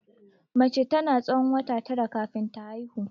Mace tana tsawon wata tara kafin ta haihu.